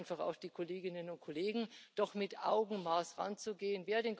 Und ich bitte einfach auch die Kolleginnen und Kollegen, doch mit Augenmaß heranzugehen.